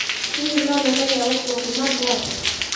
hihi no nyone gia gukũũa kuma java